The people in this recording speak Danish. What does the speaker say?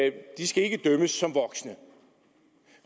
ikke skal dømmes som voksne at